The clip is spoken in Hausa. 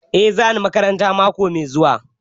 Eh za ni makaranta mako mai zuwa